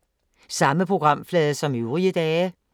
Samme programflade som øvrige dage